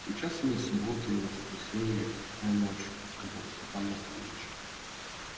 сейчас и не суббота и не воскресенье а тихая ночь сказал степан матвеевич